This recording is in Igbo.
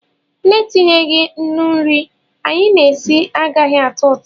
Na-etinyeghị nnu nri anyị na-esi agaghị atọ ụtọ